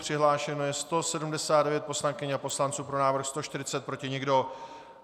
Přihlášeno je 179 poslankyň a poslanců, pro návrh 140, proti nikdo.